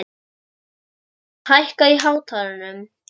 Bergrán, hækkaðu í hátalaranum.